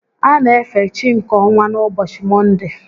A na efe chi nke ọnwa n'ụbọchị Mọnde